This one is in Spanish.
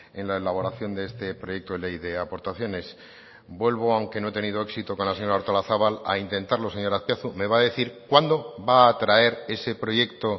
en la elaboración de este proyecto de ley de aportaciones vuelvo aunque no he tenido éxito con la señora artolazabal a intentarlo señor azpiazu me va a decir cuándo va a traer ese proyecto